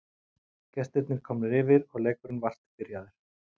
Gestirnir komnir yfir og leikurinn vart byrjaður.